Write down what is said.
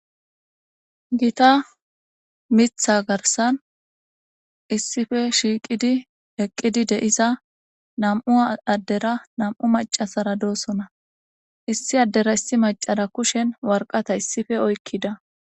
gita mitha garsan issife shiiqidi eqqidi deiza nam7u addera nam7u macasara doossona issi addera issi macara kushen warqata issife oykkida